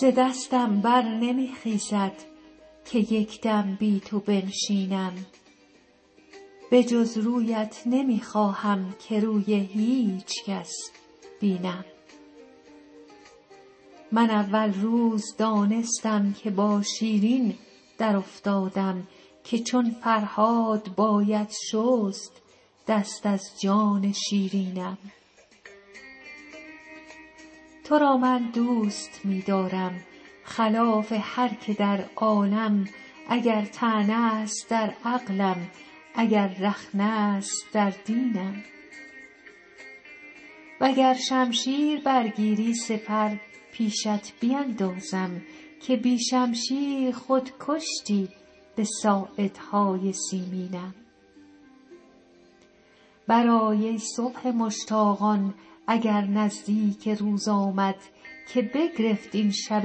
ز دستم بر نمی خیزد که یک دم بی تو بنشینم به جز رویت نمی خواهم که روی هیچ کس بینم من اول روز دانستم که با شیرین درافتادم که چون فرهاد باید شست دست از جان شیرینم تو را من دوست می دارم خلاف هر که در عالم اگر طعنه است در عقلم اگر رخنه است در دینم و گر شمشیر برگیری سپر پیشت بیندازم که بی شمشیر خود کشتی به ساعدهای سیمینم برآی ای صبح مشتاقان اگر نزدیک روز آمد که بگرفت این شب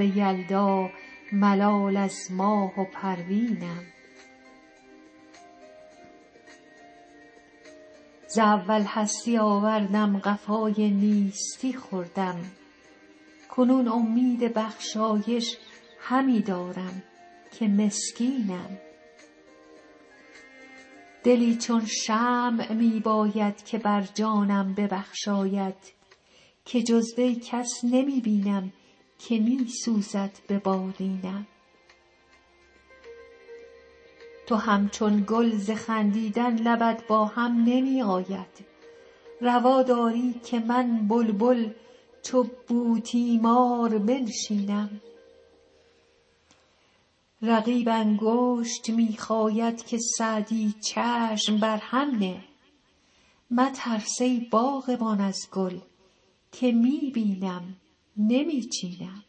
یلدا ملال از ماه و پروینم ز اول هستی آوردم قفای نیستی خوردم کنون امید بخشایش همی دارم که مسکینم دلی چون شمع می باید که بر جانم ببخشاید که جز وی کس نمی بینم که می سوزد به بالینم تو همچون گل ز خندیدن لبت با هم نمی آید روا داری که من بلبل چو بوتیمار بنشینم رقیب انگشت می خاید که سعدی چشم بر هم نه مترس ای باغبان از گل که می بینم نمی چینم